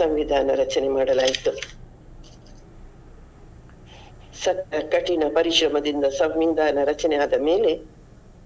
ಸಂವಿಧಾನ ರಚನೆ ಮಾಡಲು ಆಯ್ತು ಸತ~ ಕಠಿಣ ಪರಿಶ್ರಮದಿಂದ ಸಂವಿಧಾನ ರಚನೆ ಆದಮೇಲೆ